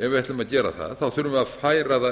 ef við ætlum að gera það þurfum við að færa það inn